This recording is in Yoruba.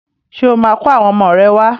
Ṣé ó máa kó àwọn ọmọ rẹ̀ wá?